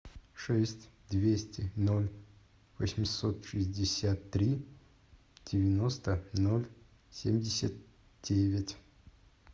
шесть двести ноль восемьсот шестьдесят три девяносто ноль семьдесят девять